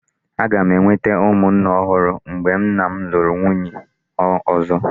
Aga m enwete ụmụnne ọhụrụ mgbe nna m lụrụ nwunye ọzọ.